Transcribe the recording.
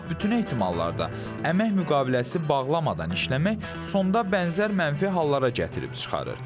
Amma bütün ehtimallarda əmək müqaviləsi bağlamadan işləmək sonda bənzər mənfi hallara gətirib çıxarır.